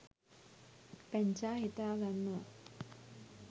පැංචා හිතා ගන්නවා